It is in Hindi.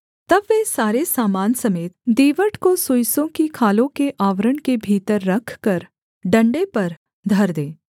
तब वे सारे सामान समेत दीवट को सुइसों की खालों के आवरण के भीतर रखकर डण्डे पर धर दें